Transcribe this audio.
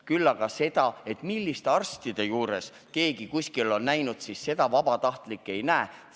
Küll aga tahan öelda seda, et milliste arstide juures keegi kuskil on käinud, vabatahtlik ei näe.